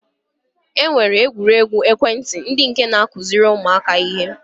E nwere egwuruegwu ekwentị ndị nke na-akụziri ụmụaka ihe